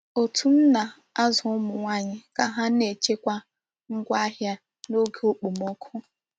Otu m na-azụ ụmụ nwanyị ka ha na-echekwa ngwaahịa n'oge okpomọkụ.